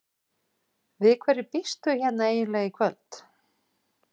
Við hverju býst þú hérna eiginlega í kvöld?